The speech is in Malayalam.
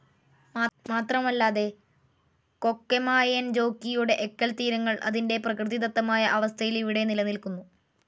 മാത്രമല്ലാതെ കൊക്കെമായെൻജോക്കിയുടെ എക്കൽത്തീരങ്ങൾ അതിൻ്റെ പ്രകൃതിദത്തമായ അവസ്ഥയിൽ ഇവിടെ നിലനിൽക്കുന്നു.